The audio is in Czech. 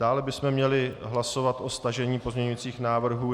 Dále bychom měli hlasovat o stažení pozměňujících návrhů.